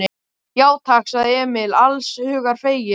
Já, takk, sagði Emil alls hugar feginn.